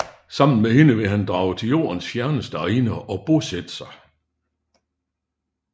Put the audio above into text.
Sammen med hende vil han drage til Jordens fjerneste egne og bosætte sig